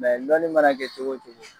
lɔni mana kɛ cogo wo cogo.